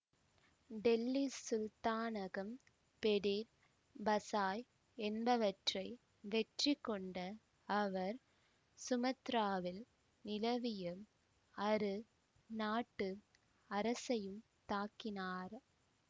டெல்லி சுல்தானகம் Pedir Pasai என்பவற்றை வெற்றிகொண்ட அவர் சுமத்ராவில் நிலவிய அரு நாட்டு அரசையும் தாக்கினார்